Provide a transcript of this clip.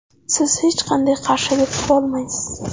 Siz hech qanday qarshilik qilolmaysiz.